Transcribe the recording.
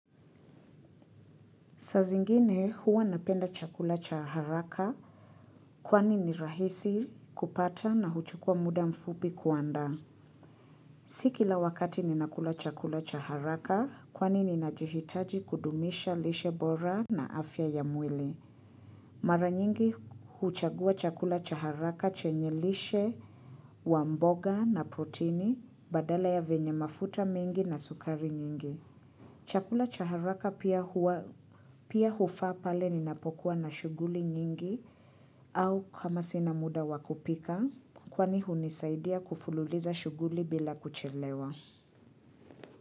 Saa zingine huwa napenda chakula cha haraka kwani ni rahisi kupata na huchukua muda mfupi kuandaa. Si kila wakati ninakula chakula cha haraka kwani ninajihitaji kudumisha lishe bora na afya ya mwili. Mara nyingi huchagua chakula cha haraka chenye lishe wa mboga na protini badala ya vyenye mafuta mengi na sukari nyingi. Chakula cha haraka pia huwa pia hufaa pale ninapokuwa na shughuli nyingi au kama sina muda wa kupika kwani hunisaidia kufululiza shughuli bila kuchelewa.